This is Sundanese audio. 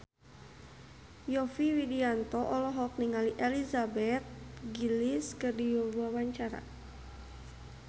Yovie Widianto olohok ningali Elizabeth Gillies keur diwawancara